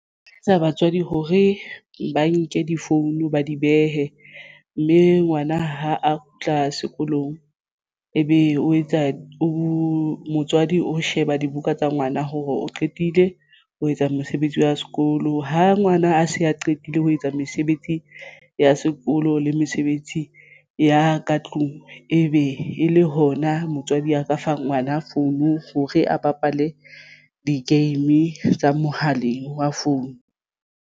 Batswadi hore ba nke di-phone ba di behe mme ngwana ha a kgutla sekolong ebe o etsa o motswadi o sheba dibuka tsa ngwana hore o qetile ho etsa mosebetsi wa sekolo ha ngwana a se a qetile ho etsa mesebetsi ya sekolo le mesebetsi ya ka tlung ebe e le hona motswadi a ka fa ngwana phone hore a bapale di-game tsa mohaleng wa phone.